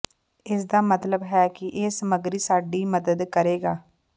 ਇਸ ਦਾ ਮਤਲਬ ਹੈ ਕਿ ਇਹ ਸਮਗਰੀ ਸਾਡੀ ਮਦਦ ਕਰੇਗਾ